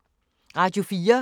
Radio 4